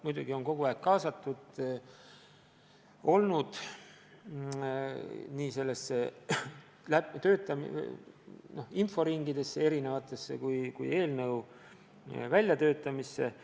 Muidugi on ta kogu aeg kaasatud olnud erinevatesse inforingidesse ja eelnõu väljatöötamisse.